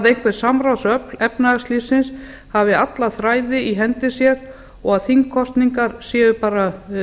einhver samráðsöfl efnahagslífsins hafi alla þræði í hendi sér og að þingkosningar séu bara